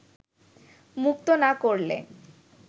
মুক্ত না করলে